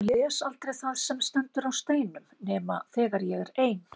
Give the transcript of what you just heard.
Ég les aldrei það sem stendur á steinum nema þegar ég er ein.